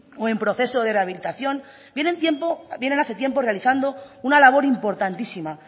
o en proceso de rehabilitación vienen hace tiempo realizando una labor importantísima